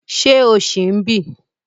Ṣé o ṣì ń bí?